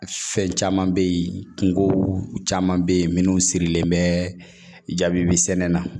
Fɛn caman bɛ yen kungo caman bɛ yen minnu sirilen bɛ jaabi sɛnɛ na